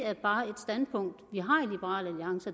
er bare et standpunkt